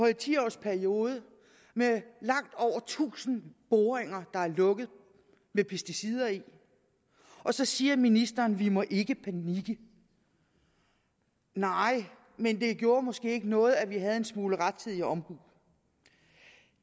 en ti års periode med langt over tusind boringer der er lukket med pesticider i og så siger ministeren vi må ikke panikke nej men det gjorde måske ikke noget at vi havde en smule rettidig omhu